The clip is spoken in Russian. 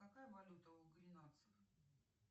какая валюта у гренландцев